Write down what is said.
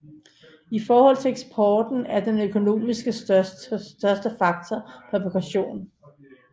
I forhold til eksporten er den økonomisk største sektor fabrikation